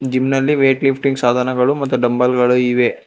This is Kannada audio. ಜಿಮ್ ನಲ್ಲಿ ವೈಟ್ ಲಿಫ್ಟಿಂಗ್ ಸಾಧನಗಳು ಮತ್ತು ಡಂಬಲ್ ಗಳು ಇವೆ.